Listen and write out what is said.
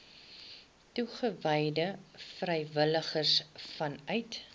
toegewyde vrywilligers vanuit